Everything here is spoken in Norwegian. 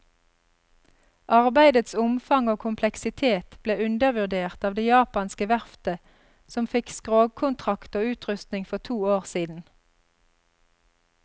Arbeidets omfang og kompleksitet ble undervurdert av det japanske verftet som fikk skrogkontrakt og utrustning for to år siden.